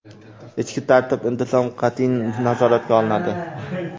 Ichki tartib-intizom qat’iy nazoratga olinadi.